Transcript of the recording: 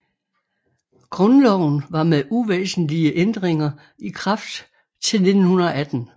Grundloven var med uvæsentlige ændringer i kraft til 1918